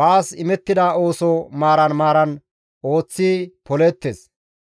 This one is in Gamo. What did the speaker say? baas imettida ooso maaran maaran ooththi polishe de7ida.